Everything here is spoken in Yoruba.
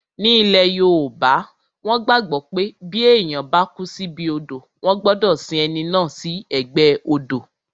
Ní ilẹ̀ yoòbá, wọ́n gbàgbọ́ pé bí èèyàn bá kú síbi odò wọ́n gbọdọ̀ sin ẹni náà sí ẹ̀gbẹ́ odò